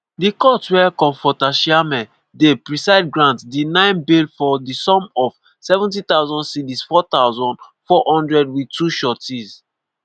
di court wia comfort tasiameh dey preside grant di 9 bail for di sum of ¢70000 cedis ($4400) wit 2 sureties.